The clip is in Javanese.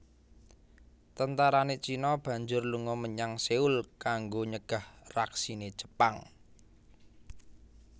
Tentarane Cina banjur lunga menyang Seoul kanggo nyegah raksine Jepang